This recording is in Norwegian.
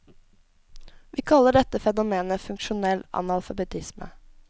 Vi kaller dette fenomenet funksjonell analfabetisme.